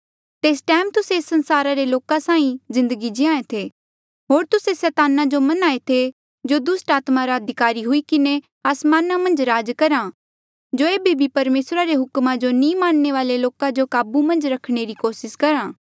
तेस टैम तुस्से एस संसारा रे लोका साहीं जिन्दगी जीये थे होर तुस्से सैताना जो मन्हें थे जो दुस्ट आत्मा रा अधिकारी हुई किन्हें आसमाना मन्झ राज करहा जो एेबे भी परमेसरा रे हुक्मा जो नी मनणे वाले लोका जो काबू मन्झ रखणे री कोसिस करहा